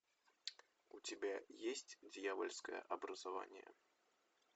у тебя есть дьявольское образование